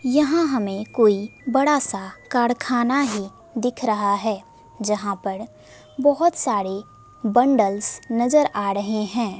यहां हमें कोई बड़ा सा कारखाना ही दिख रहा है जहां पर बहुत सारे बंडल्स नजर आ रहे हैं।